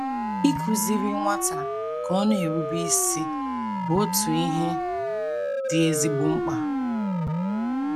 Ịkụziri nwata ka ọ na - erube isi bụ otu ihe dị ezigbo mkpa..